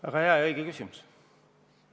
Väga hea ja õige küsimus.